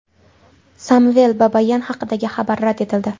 Samvel Babayan haqidagi xabar rad etildi.